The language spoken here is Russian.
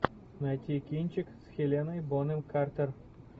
найти кинчик с хеленой бонем картер